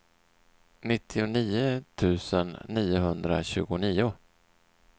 nittionio tusen niohundratjugonio